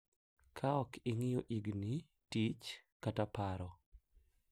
Ka ok ing’iyo higni, tich, kata paro.